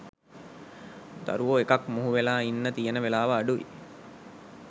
දරුවෝ එකක් මුහුවෙලා ඉන්න තියන වෙලාව අඩුයි.